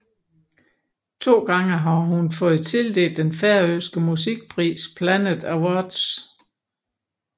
To gange har hun fået tildelt den færøske musikpris Planet Awards